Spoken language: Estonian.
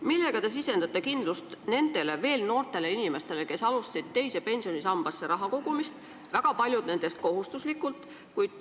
Kuidas te sisendate kindlust nendele veel noortele inimestele, kes alustasid teise pensionisambasse raha kogumist – väga paljud nendest kohustuslikult?